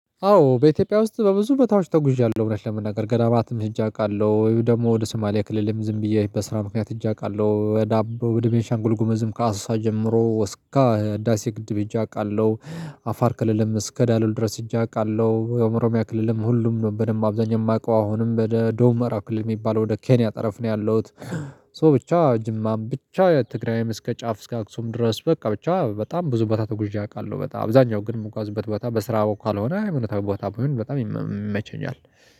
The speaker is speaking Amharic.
አዎ በኢትዮጵያ ውስጥ በብዙ ቦታዎች ተጉዝሃለሁ እውነት ለመናገር ገዳማትም ሄጄ አውቃለሁ ደግሞ ወደ ሱማሌ ክልልም ዝም ብዬ በስራ ምክንያት ሄጄ አውቃለሁ ወደ አቦ ወደ ቤንሻንጉል ጉመዝም ከአሳሳ ጀምሮ እስከ ህዳሴ ግድብ ሄጄ አውቃለሁ። አፋር ክልልም እስከ ዳሎል ድረስ ሄጄ አውቃለሁ። የኦምሮሚያ ክልልም ሁሉም ነው በደንብ አብዛኛው የማውቀው አሁንም በደቡብ ምዕራብ ክልል የሚባለው ወደ ኬንያ ጠረፍ ነው ያለሁት። ሶ ብቻ ጅማም ብቻ ትግራይም እስከ ጫፍ እስከ አክሱም ድረስ በቃ ብቻ በጣም ብዙ ቦታ ተጉዤ አውቃለሁ። በጣም አብዛኛው ግን የምግዋዝበት ቦታ በስራ በኩል ካልሆነ እውነታው ቦታ በሆነ በጣም ይመቸኛል